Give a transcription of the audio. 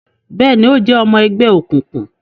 Bẹẹni, o jẹ ọmọ ẹgbẹ òkùnkùn